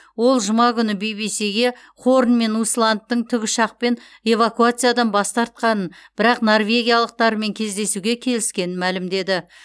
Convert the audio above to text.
ол жұма күні би би сиге хорн мен усландтың тікұшақпен эвакуациядан бас тартқанын бірақ норвегиялықтармен кездесуге келіскенін мәлімдеді